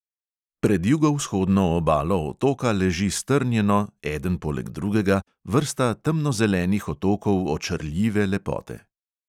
Pred jugovzhodno obalo otoka leži strnjeno, eden poleg drugega, vrsta temnozelenih otokov očarljive lepote.